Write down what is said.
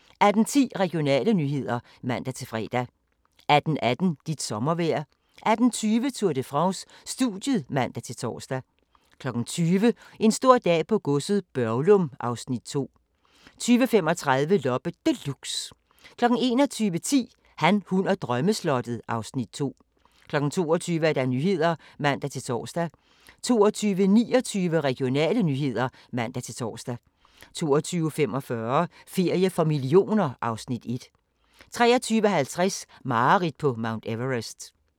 18:10: Regionale nyheder (man-fre) 18:18: Dit sommervejr 18:20: Tour de France: Studiet (man-tor) 20:00: En stor dag på godset - Børglum (Afs. 2) 20:35: Loppe Deluxe 21:10: Han, hun og drømmeslottet (Afs. 2) 22:00: Nyhederne (man-tor) 22:29: Regionale nyheder (man-tor) 22:45: Ferie for millioner (Afs. 1) 23:50: Mareridt på Mount Everest